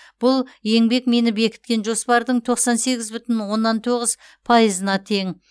бұл еңбекмині бекіткен жоспардың тоқсан сегіз бүтін оннан тоғыз пайызына тең